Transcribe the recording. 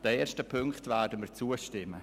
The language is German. Den ersten Punkten werden wir zustimmen.